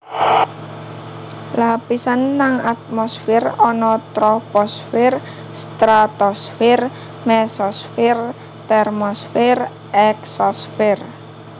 Lapisan nang atmosfer ana Troposfer Stratosfer Mesosfer Termosfer Eksosfer